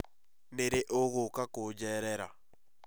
Nĩ rĩ ũgũũka kũjerera